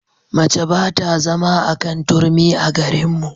Mace ba ta zama a kan turmi a garinmu.